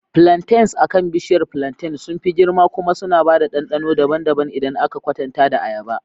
Plantains akan bishiyar plantain sun fi girma kuma suna da ɗanɗano daban-daban idan aka kwatanta da ayaba.